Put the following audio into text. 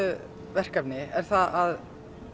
verkefni er að